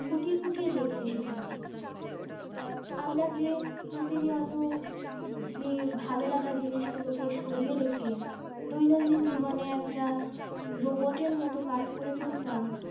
খুঁটিয়ে খুটিয়ে দেখতে শিখেছি আমরা যে প্রতিনিয়ত যে ভালোলাগা জিনিসগুলো কে সরিয়ে রেখে দৈনন্দিন জীবনে একটা robert এর মতো কাজ করে চলতাম